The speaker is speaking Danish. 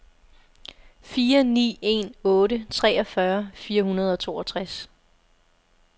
fire ni en otte treogfyrre fire hundrede og toogtres